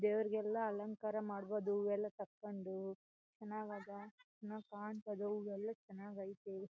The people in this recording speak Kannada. ದೇವರಿಗೆಲ್ಲಾ ಅಲಂಕಾರ ಮಾಡಬೋದು ಹೂವೆಲ್ಲ ತಕಂಡು ಚನ್ನಾಗ್ ಅದ. ಚನ್ನಾಗ್ ಕಾಣ್ತದೆ ಹೂವೆಲ್ಲ ಚನ್ನಾಗೈತೆ.